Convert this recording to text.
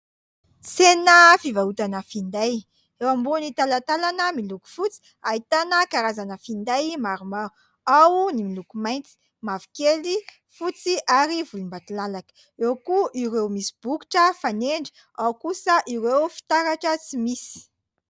Tsena fivarotana fiinday ,eo ambon'ny talatalana miloko fotsy ahitana karazana fiinday maromaro ao ny miloko mainty, mavokely, fotsy, ary volombatolalaka ;eo koa ireomisybokotra fanendry ao kosa ireo fiitaratra tsy misy.